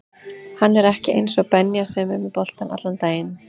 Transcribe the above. Hann er ekki eins og Benja sem er með boltann allan daginn